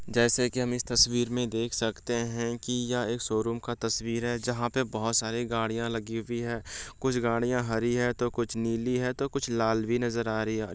जैसे कि हम इस तस्वीर मे देख सकते है कि यह एक शोरूम का तस्वीर है जहां पे बहुत सारी गाड़ियां लगी हुई है कुछ गाड़ियां हरी है तो कुछ नीली है तो कुछ लाल भी नजर आ रही है।